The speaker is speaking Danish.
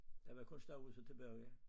Der var kun stuehuset tilbage